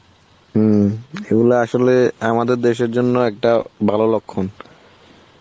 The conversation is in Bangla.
হম এগুলা আসলে আমাদের দেশের জন্য একটা ভালো লক্ষণ